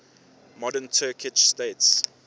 modern turkic states